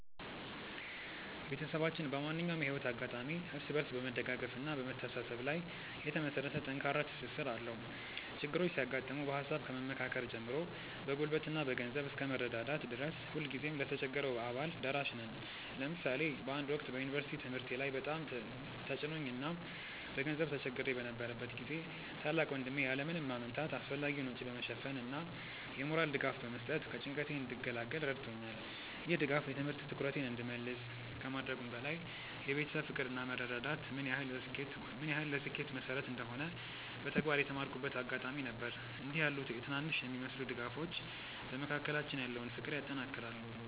ቤተሰባችን በማንኛውም የህይወት አጋጣሚ እርስ በርስ በመደጋገፍና በመተሳሰብ ላይ የተመሰረተ ጠንካራ ትስስር አለው። ችግሮች ሲያጋጥሙ በሃሳብ ከመመካከር ጀምሮ በጉልበትና በገንዘብ እስከ መረዳዳት ድረስ ሁልጊዜም ለተቸገረው አባል ደራሽ ነን። ለምሳሌ በአንድ ወቅት በዩኒቨርሲቲ ትምህርቴ ላይ በጣም ተጭኖኝ እና በገንዘብ ተቸግሬ በነበረበት ጊዜ ታላቅ ወንድሜ ያለ ምንም ማመንታት አስፈላጊውን ወጪ በመሸፈን እና የሞራል ድጋፍ በመስጠት ከጭንቀቴ እንድገላገል ረድቶኛል። ይህ ድጋፍ የትምህርት ትኩረቴን እንድመልስ ከማድረጉም በላይ የቤተሰብ ፍቅር እና መረዳዳት ምን ያህል ለስኬት መሰረት እንደሆነ በተግባር የተማርኩበት አጋጣሚ ነበር። እንዲህ ያሉ ትናንሽ የሚመስሉ ድጋፎች በመካከላችን ያለውን ፍቅር ያጠናክራሉ።